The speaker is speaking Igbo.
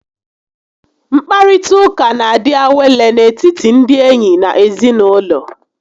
Nkparita ụka n'adị awele n'etiti ndị enyi na ezinaụlọ